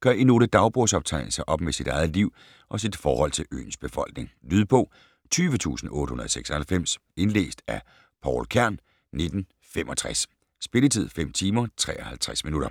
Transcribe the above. gør i nogle dagbogsoptegnelser op med sit eget liv og sit forhold til øens befolkning. Lydbog 20896 Indlæst af Pouel Kern, 1965. Spilletid: 5 timer, 53 minutter.